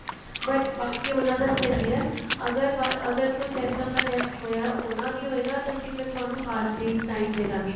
but ਬਾਕੀ ਉਹਨਾ ਦਾ ਸ਼ਰੀਰ ਹੈ ਅਗਰ ਅਗਰ ਕੁੱਝ ਇਸ ਤਰ੍ਹਾਂ ਦਾ test ਹੋਇਆ ਹੋਣਾ ਵੀ ਹੋਏਗਾ ਤੇ ਅਸੀਂ ਫ਼ਿਰ ਤੁਹਾਨੂੰ ਬਾਅਦ ਦੇ time ਦੇਦਾਗੇ